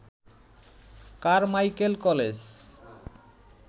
Carmichael college